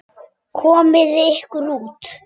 Komiði ykkur út.